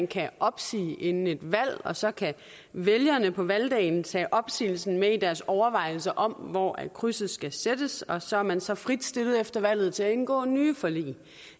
kan opsige inden et valg og så kan vælgerne på valgdagen tage opsigelsen med i deres overvejelser om hvor krydset skal sættes og så er man så frit stillet efter valget til at indgå nye forlig det